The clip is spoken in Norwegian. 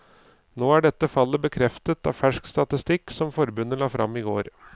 Nå er dette fallet bekreftet av fersk statistikk som forbundet la frem i går.